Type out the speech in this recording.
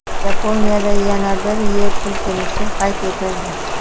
Yaponiyada yana bir yer silkinishi qayd etildi.